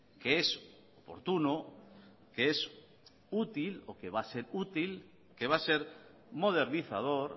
que es oportuno que es útil o que va a ser útil que va a ser modernizador